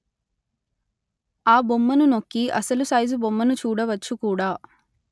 ఆ బొమ్మను నొక్కి అసలు సైజు బొమ్మను చూడవచ్చు కూడా